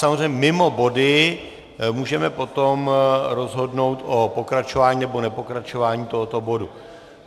Samozřejmě mimo body můžeme potom rozhodnout o pokračování nebo nepokračování tohoto bodu.